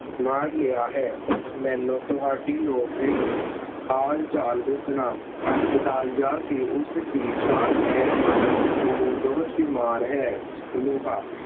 ਸਾਰ ਲਿਆ ਹੈ ਮੈਨੂੰ ਤੁਹਾਡੀ ਲੋੜ ਨਹੀਂ । ਹਾਲ-ਚਾਲ ਪੁੱਛਣਾ ਹਸਪਤਾਲ ਜਾ ਕੇ ਉਸ ਦੀ ਸਾਰ ਲੈ ਲਉ ਉਹ ਬਹੁਤ ਬਿਮਾਰ ਹੈ। ਲੋਹਾ,